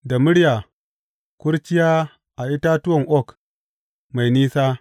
Da murya Kurciya a Itatuwan Oak Mai Nisa.